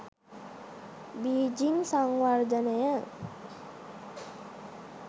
Beijing සංවර්ධනය